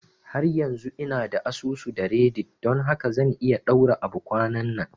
Har yanzu ina da asusu da reddit don haka zan iya ɗaura abu kwananan